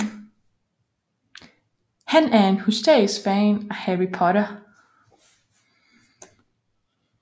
Han er en hysterisk fan af Harry Potter